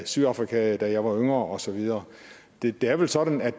sydafrika da jeg var yngre og så videre det er vel sådan at